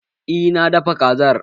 Eh na dafa Kazar